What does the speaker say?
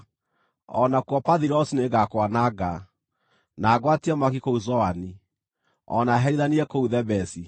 O nakuo Pathirosi nĩngakwananga, na ngwatie mwaki kũu Zoani, o na herithanie kũu Thebesi.